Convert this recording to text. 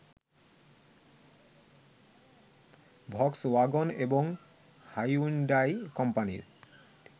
Volkswagen এবং Hyundai কোম্পানির